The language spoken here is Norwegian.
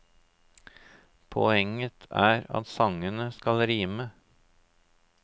Poenget er at sangene skal rime.